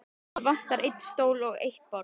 Það vantar einn stól og eitt borð.